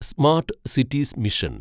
smart cities mission